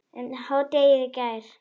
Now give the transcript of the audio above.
um hádegið í gær.